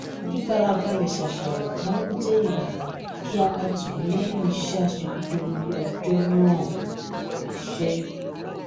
fífarabalè ṣàṣàrò máa ń jé ìrànwọ kí ara tù mí léyìn iṣé àṣekúdórógbó ọjọ náà ní ibi iṣẹ